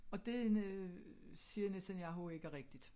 Og det en øh siger Netanyahu ikke er rigtigt